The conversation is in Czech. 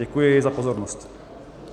Děkuji za pozornost.